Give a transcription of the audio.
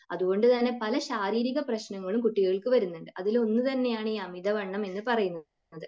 അതുകൊണ്ട് തന്നെ പല ശാരീരിക പ്രശ്നങ്ങളും കുട്ടികൾക്ക് വരുന്നുണ്ട്. അതിലൊന്ന് തന്നെയാണ് ഈ അമിതവണ്ണം എന്ന് പറയുന്നത്.